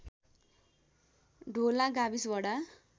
ढोला गाविस वडा